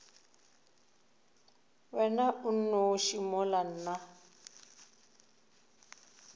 wena o nnoši mola nna